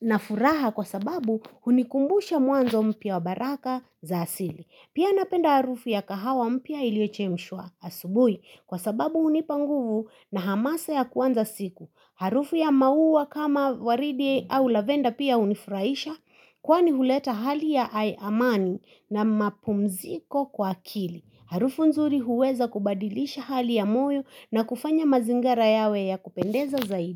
na furaha kwa sababu hunikumbusha mwanzo mpya wa baraka za asili. Pia napenda harufu ya kahawa mpya iliyochemshwa asubuhi kwa sababu hunipa nguvu na hamasa ya kuanza siku. Harufu ya mauwa kama waridi au lavenda pia hunifurahisha kwani huleta hali ya amani na mapumziko kwa kili. Harufu nzuri huweza kubadilisha hali ya moyo na kufanya mazingara yawe ya kupendeza zaidi.